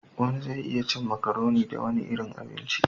Wani zai iya cin macaroni da wani irin abinci